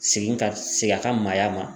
Segin ka segin a ka maaya ma